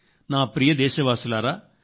నా ప్రియమైన నాదేశవాసుల్లారా